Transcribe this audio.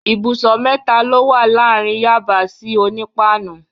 Ìbùsọ̀ mẹ́ta ló wà láàárín Yaba sí Onípáànù.